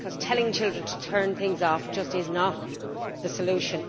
Telling children to turn things off is just not the solution.